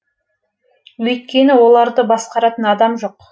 өйткені оларды басқаратын адам жоқ